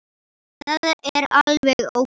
Það er alveg ókei.